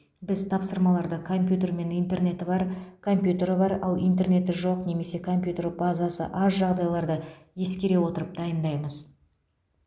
біз тапсырмаларды компьютер мен интернеті бар компьютері бар ал интернеті жоқ немесе компьютер базасы аз жағдайларды ескере отырып дайындаймыз